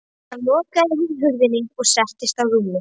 Síðan lokaði hún hurðinni og settist á rúmið.